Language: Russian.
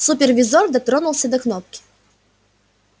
супервизор дотронулся до кнопки